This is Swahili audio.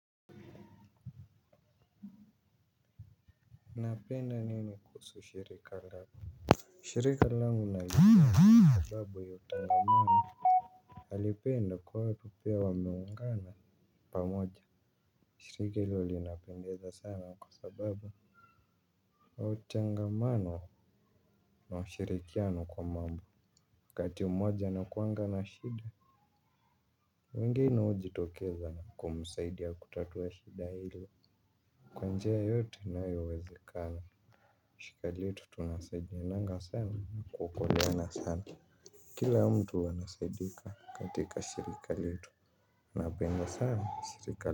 Napenda nini kuhusu shirika langu. Shirika langu nalipenda kwa sababu ya utangamano nalipenda kwa watu pia wameungana pamoja. Shiriki hilo linapendeza sana kwa sababu wa utangamano na ushirikiano kwa maombi kati umoja inakuanga na shida. Wengine huji tokeza kumsaidia kutatuwa shida ile. Kwa njia yoyote inayowezekana shirika letu tunasaidiananga sana kuokoleana sana kila mtu anasaidika katika shirika letu na penda sana shirika.